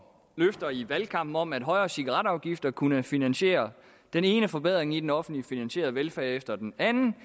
løfter i valgkampen om at højere cigaretafgifter kunne finansiere den ene forbedring i den offentligt finansierede velfærd efter den anden